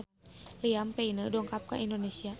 Liam Payne dongkap ka Indonesia